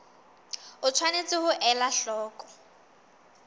o tshwanetse ho ela hloko